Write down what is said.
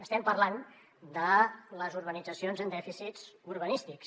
estem parlant de les urbanitzacions amb dèficits urbanístics